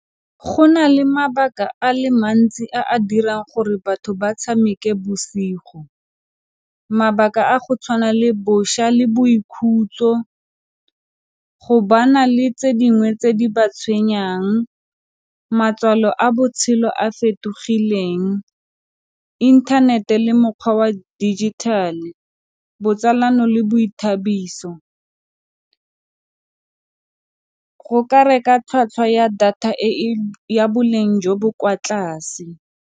Go na le mabaka a le mantsi a a dirang gore batho ba tshameke bosigo, mabaka a go tshwana le bošwa le boikhutso, go ba na le tse dingwe tse di ba tshwenyang, matswalo a botshelo a fetogileng, inthanete le mokgwa wa digital-e, botsalano le boithabiso go ka reka tlhwatlhwa ya data ya boleng jo bo kwa tlase.